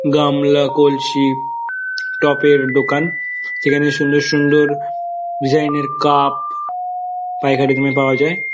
গামলা কলসী টপের দোকান সেখানে সুন্দর সুন্দর ডিসাইন -এর কাপ পাইকারি দামে পাওয়া যায়।